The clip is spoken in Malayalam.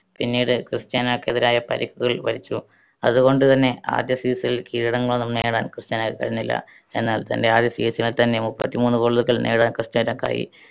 പിന്നീട് ക്രിസ്റ്റ്യാനോക്കെതിരായ പരിക്കുകൾ വലച്ചു. അതുകൊണ്ടു തന്നെ ആദ്യ season ൽ കിരീടങ്ങളൊന്നും നേടാൻ ക്രിസ്റ്റ്യാനോയ്ക്ക് കഴിഞ്ഞില്ല. എന്നാൽ തന്റെ ആദ്യ season ൽ തന്നെ മുപ്പത്തിമൂന്ന് goal കൾ നേടാൻ ക്രിസ്റ്റ്യാനോയ്‌ക്കായി.